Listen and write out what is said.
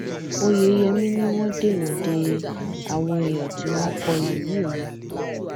oyeyèmí ni wọn dènà de àwọn èèyàn tí wọn kọ lù yìí ni